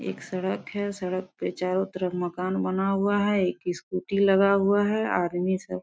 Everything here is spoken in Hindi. एक सड़क है सड़क पे चारों तरफ मकान बना हुआ है एक स्कूटी लगा हुआ है आदमी सब --